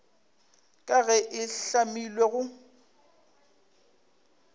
ka ge e hlamilwe go